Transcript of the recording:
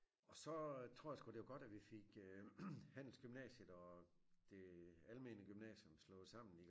Og så tror jeg sgu det var godt at vi fik øh handelsgymnasiet og det almene gymnasium slået sammen i